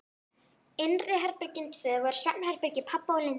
Innri herbergin tvö voru svefnherbergi pabba og Lindu.